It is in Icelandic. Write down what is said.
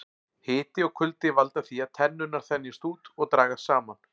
Hiti og kuldi valda því að tennurnar þenjast út og dragast saman.